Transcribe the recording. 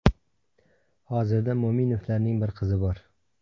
Hozirda Mo‘minovlarning bir qizi bor.